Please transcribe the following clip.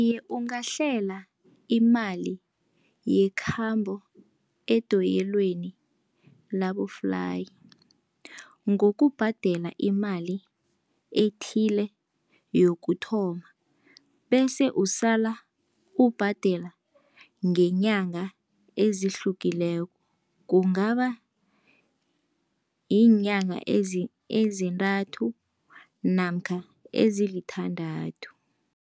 Iye, ungahlela imali yekhambo edoyelweni laboflayi, ngokubhadela imali ethile yokuthoma. Bese usala ubhadela ngeenyanga ezihlukileko, kungaba ziinyanga ezintathu namkha ezisithandathu.